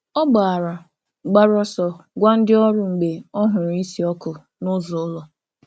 Ọ gbàrà gbàrà ọsọ gwa ndị ọrụ mgbe ọ hụrụ̀ ísì ọkụ̀ n’ụzọ ụlọ̀.